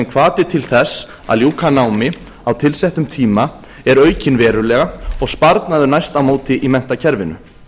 hvati til þess að ljúka námi á tilsettum tíma er aukinn verulega og sparnaður næst á móti í menntakerfinu